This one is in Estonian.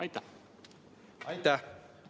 Aitäh!